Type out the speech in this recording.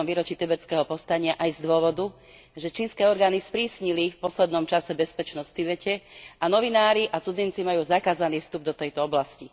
50. výročí tibetského povstania aj z dôvodu, že čínske orgány sprísnili v poslednom čase bezpečnosť v Tibete a novinári a cudzinci majú zakázaný vstup do tejto oblasti.